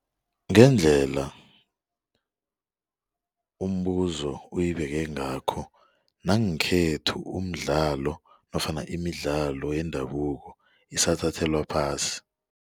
Ngendlela umbuzo oyibeke ngakho nangekhethu umdlalo nofana imidlalo yendabuko isathathelwa phasi.